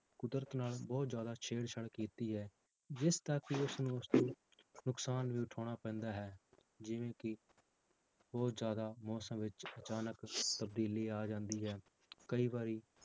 ਕੁਦਰਤ ਨਾਲ ਬਹੁਤ ਜ਼ਿਆਦਾ ਛੇੜ ਛਾੜ ਕੀਤੀ ਹੈ ਜਿਸ ਦਾ ਕਿ ਉਸਨੂੰ ਨੁਕਸਾਨ ਵੀ ਉਠਾਉਣਾ ਪੈਂਦਾ ਹੈ, ਜਿਵੇਂ ਕਿ ਬਹੁਤ ਜ਼ਿਆਦਾ ਮੌਸਮ ਵਿੱਚ ਅਚਾਨਕ ਤਬਦੀਲੀ ਆ ਜਾਂਦੀ ਹੈ ਕਈ ਵਾਰੀ